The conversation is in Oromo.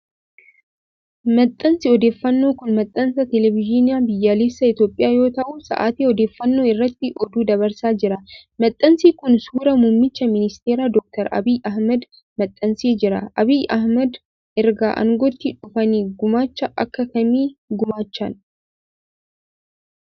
Maxxansi odeeffannoo kun, maxxansa teleevizyinii biyyaalessaa Itoophiyaa yoo ta'u, sa'aatii odeeffannoo irratti oduu dabarsaa jira. Maxxansi kun, suura Muummicha Ministeeraa, Doktar Abiy Ahimad maxxansee jira. Abiy Ahimad erga aangotti dhufanii gumaacha akka kamii gumaachan?